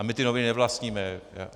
A my ty noviny nevlastníme!